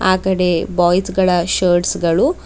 ಆ ಕಡೆ ಬಾಯ್ಸ್ ಗಳ ಶರ್ಟ್ಸ್ ಗಳು --